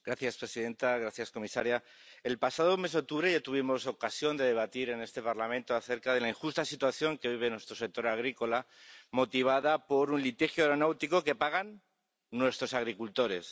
Señora presidenta, señora comisaria, el pasado mes de octubre ya tuvimos ocasión de debatir en este Parlamento acerca de la injusta situación que vive nuestro sector agrícola, motivada por un litigio aeronáutico que pagan nuestros agricultores.